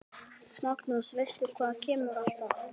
Magnús: Veistu hvað kemur alltaf?